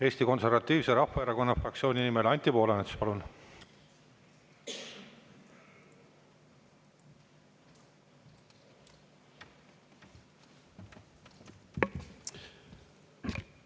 Eesti Konservatiivse Rahvaerakonna fraktsiooni nimel, Anti Poolamets, palun!